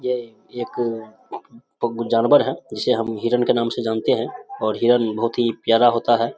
यह एक पग जानवर है जिसे हम हिरण के नाम से जानते हैं और हिरण बहुत ही प्यारा होता है।